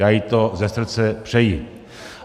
Já jí to ze srdce přeji.